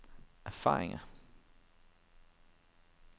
erfaringer